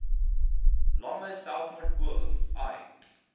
lange selfmoordpoging ai